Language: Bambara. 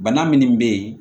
Bana minnu bɛ yen